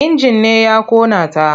Injin ne ya ƙona ta.